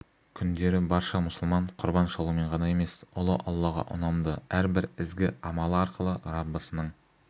күндері барша мұсылман құрбан шалумен ғана емес ұлы аллаға ұнамды әрбір ізгі амалы арқылы раббысының